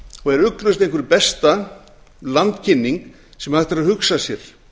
og er ugglaust einhver besta landkynning sem hægt er að hugsa sér